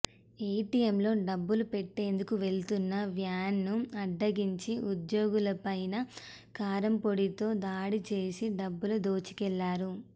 ఏటీఎంలలో డబ్బులు పెట్టేందుకు వెళ్తున్న వ్యాన్ను అడ్డగించి ఉద్యోగుల పైన కారంపొడితో దాడి చేసి డబ్బులు దోచుకెళ్లారు